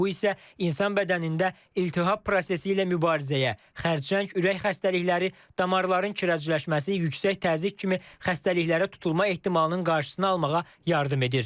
Bu isə insan bədənində iltihab prosesi ilə mübarizəyə, xərçəng, ürək xəstəlikləri, damarların kirəcləşməsi, yüksək təzyiq kimi xəstəliklərə tutulma ehtimalının qarşısını almağa yardım edir.